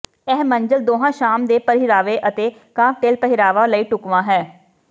ਇਹ ਮੰਜ਼ਿਲ ਦੋਹਾਂ ਸ਼ਾਮ ਦੇ ਪਹਿਰਾਵੇ ਅਤੇ ਕਾਕਟੇਲ ਪਹਿਰਾਵਾ ਲਈ ਢੁਕਵਾਂ ਹੈ